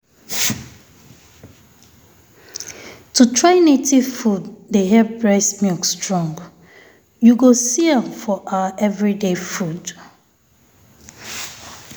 to try native food dey help breast milk strong. you go see am for our everyday food.